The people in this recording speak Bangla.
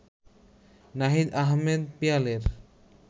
নাহিদ আহমেদ পিয়ালের